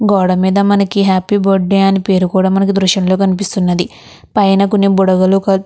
గోడ మీద మనకి హ్యాపీ బర్త్డే అని పేరు కూడా మనకి దృశ్యంలో కనిపిస్తునది పైన కొన్ని బుడగలు ఒక --